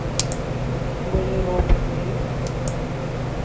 болеро покажи